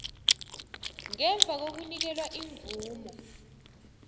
ngemva kokunikelwa imvumo